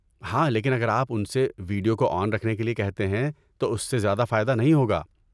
ہاں، لیکن اگر آپ ان سے ویڈیو کو آن رکھنے کے لیے کہتے ہیں تو اس سے زیادہ فائدہ نہیں ہوگا۔